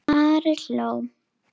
Ari hló.